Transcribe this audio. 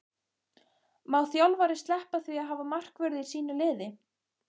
Má þjálfari sleppa því að hafa markvörð í sínu liði?